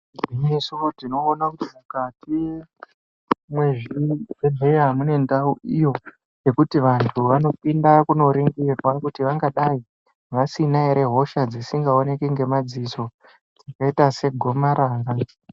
Igwinyiso tinoona kuti mukati mwezvibhehleya mune ndau iyo yekuti vantu vanopinda kundoringirwa kuti vangadai vasina ere hosha dzisingaoneki ngemadziso dzakaita segomarara.